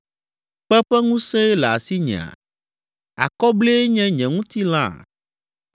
Kpe ƒe ŋusẽe le asinyea? Akɔblie nye nye ŋutilãa?